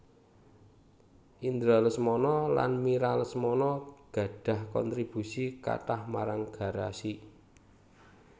Indra Lesmana lan Mira Lesmana gadhah kontribusi kathah marang Garasi